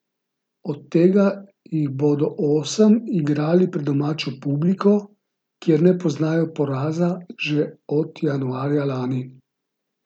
Od tega jih bodo osem igrali pred domačo publiko, kjer ne poznajo poraza že od januarja lani.